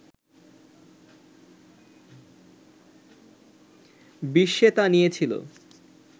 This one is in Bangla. বিশ্বে তা নিয়ে ছিল